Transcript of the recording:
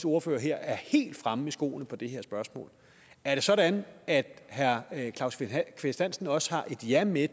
ordfører her er helt fremme i skoene i det her spørgsmål er det sådan at herre claus kvist hansen også har et ja med